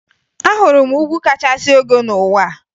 Ahụrụ m ugwu kachasị ogo n'ụwa a